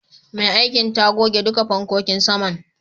Mai aikin ta goge duka fankokin saman.